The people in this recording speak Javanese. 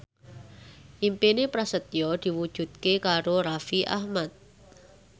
impine Prasetyo diwujudke karo Raffi Ahmad